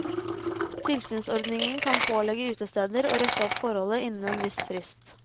Tilsynsordningen kan pålegge utesteder å rette opp forholdet innen en viss frist.